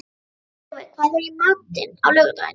Geirþjófur, hvað er í matinn á laugardaginn?